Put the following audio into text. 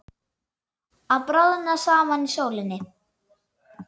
Að bráðna saman í sólinni